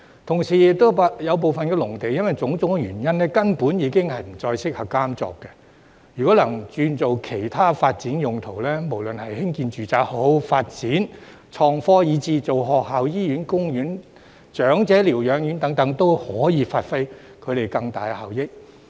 同時，有部分農地因種種原因，根本已不再適合耕作，若能轉做其他發展用途，無論是興建住宅、發展創科，以至興建學校、醫院、公園、長者療養院等，都可以發揮更大效益。